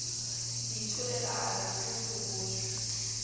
itholela a re tu phokojwe